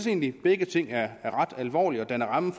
egentlig at begge ting er ret alvorlige og danner ramme